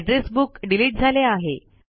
address book delete झाले आहे